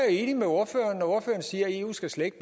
enig med ordføreren når ordføreren siger at eu slet ikke